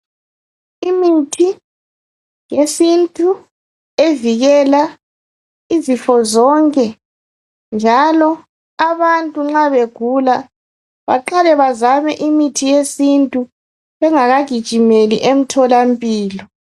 Imithi yesintu evikela izifo zonke, njalo abantu nxa beguka, baqala bazame imithi yesintu. Bengakagijimeli emtholampilo.